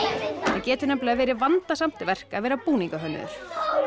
getur verið vandasamt verk að vera búningahönnuður